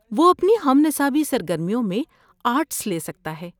وہ اپنی ہم نصابی سرگرمیوں میں آرٹس لے سکتا ہے۔